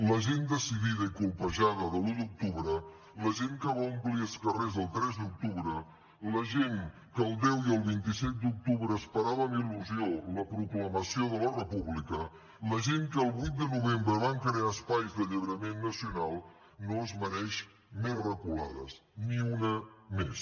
la gent decidida i colpejada de l’un d’octubre la gent que va omplir els carrers el tres d’octubre la gent que el deu i el vint set d’octubre esperava amb il·lusió la proclamació de la república la gent que el vuit de novembre van crear espais d’alliberament nacional no es mereix més reculades ni una més